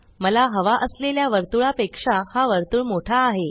मला हवा असलेल्या वर्तुळा पेक्षा हा वर्तुळ मोठा आहे